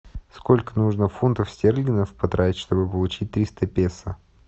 сколько нужно фунтов стерлингов потратить чтобы получить триста песо